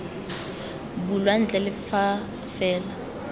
bulwa ntle le fa fela